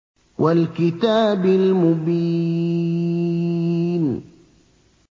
وَالْكِتَابِ الْمُبِينِ